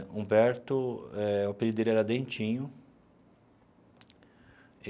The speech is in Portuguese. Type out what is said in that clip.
O Humberto eh, o apelido dele era Dentinho.